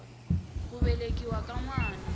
ku velekiwa ka n wana